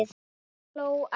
En amma hló ekki.